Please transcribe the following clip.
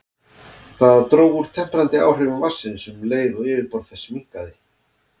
Það dró úr temprandi áhrifum vatnsins um leið og yfirborð þess minnkaði.